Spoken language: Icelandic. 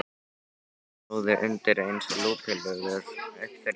Hann flúði undir eins lúpulegur upp fyrir bæinn.